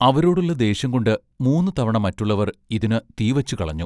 അവരോടുള്ള ദ്വേഷംകൊണ്ട് മൂന്നു തവണ മറ്റുള്ളവർ ഇതിന് തീ വച്ചു കളഞ്ഞു.